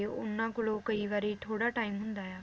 ਉਹਨਾਂ ਕੋਲੋਂ ਕਈ ਵਾਰੀ ਥੋੜਾ ਟੀਮ ਹੁੰਦਾ ਆ